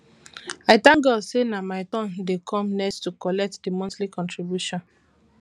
i thank god say nah my turn dey come next to collect the monthly contribution